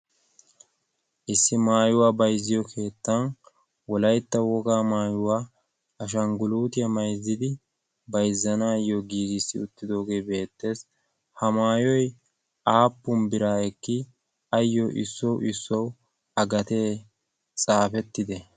issi maayuwaa bayzziyo keettan wolaytta wogaa maayuwaa ashangguluutiyaa mayzzidi bayzzanaayyo giigissi uttidoogee beettees. ha maayoy aappun biraa ekki? ayyo issuwawu issuwawu a gatee xaafettide?